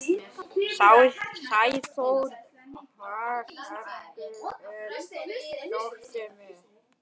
Sæþór, hvar er dótið mitt?